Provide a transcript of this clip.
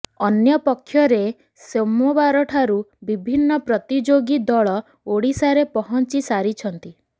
ଅନ୍ୟପକ୍ଷରେ ସୋମବାରଠାରୁ ବିଭିନ୍ନ ପ୍ରତିଯୋଗୀ ଦଳ ଓଡ଼ିଶାରେ ପହଞ୍ଚି ସାରିଛନ୍ତି